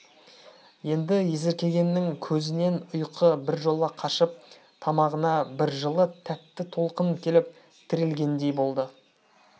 енді есіркегеннің көзінен ұйқы біржола қашып тамағына бір жылы тәтті толқын келіп тірелгендей болды